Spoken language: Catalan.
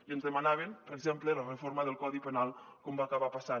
i ens demanaven per exemple la reforma del codi penal com va acabar passant